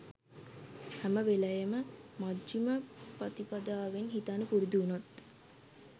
හැම වෙලෙම මජ්ජිම පඨිපදාවෙන් හිතන්න පුරුදු වුණොත්